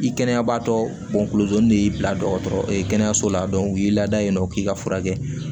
I kɛnɛya baatɔ de y'i bila dɔgɔtɔrɔyi kɛnɛyaso la u y'i lada yen nɔ k'i ka furakɛ